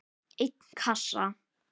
einn kassa?